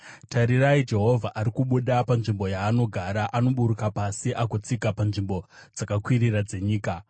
Tarirai! Jehovha ari kubuda panzvimbo yaanogara: anoburuka pasi agotsika panzvimbo dzakakwirira dzenyika.